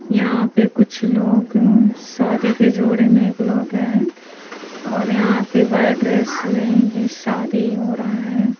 यहां पे कुछ लोग शादी के जोड़े में एक लोग हैं और यहां पे व्हाइट ड्रेस में ये शादी हो रहा है।